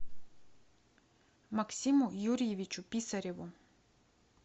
максиму юрьевичу писареву